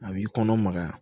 A b'i kɔnɔ magaya